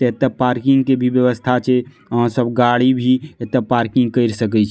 एते पार्किंग की भी व्यवस्था छै आहां सब गाड़ी भी एते पार्किंग कर सकीय छी।